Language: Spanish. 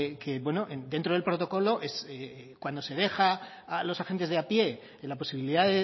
que dentro del protocolo cuando se deja a los agentes de a pie la posibilidad